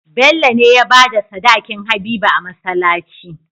Bello ne yabada sadakin habiba a masalaci